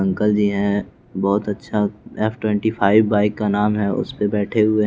uncle ji हैं बहुत अच्छा एफ ट्वेंटी फाइव बाइक का नाम है उसमें बैठे हुए हैं --